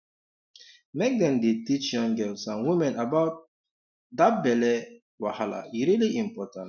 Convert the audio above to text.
make dem dey teach young girls and women about um that belly um wahala e really important